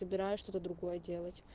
собираюсь что-то другое делать